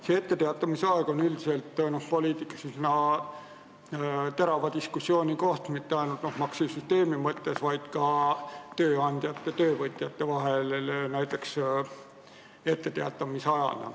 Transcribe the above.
See etteteatamise aeg on üldiselt poliitikas üsna terava diskussiooni koht mitte ainult maksusüsteemi mõttes, vaid ka tööandjate ja töövõtjate vahel.